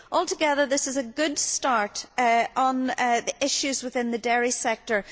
Altogether, this is a good start on the issues within the dairy sector.